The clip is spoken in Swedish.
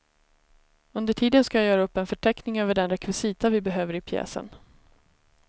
Under tiden ska jag göra upp en förteckning över den rekvisita vi behöver i pjäsen.